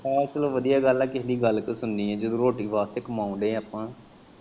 ਆ ਚੱਲ ਵਧੀਆ ਗੱਲ ਆ, ਕਿਹੇ ਦੀ ਗੱਲ ਕਿਉਂ ਸੁਣਨੀ ਜਦੋਂ ਰੋਟੀ ਵਾਸਤੇ ਕਮਾਨ ਦੇ ਐ ਆਪਾਂ।